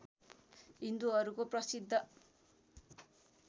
हिन्दुहरूको प्रसिद्ध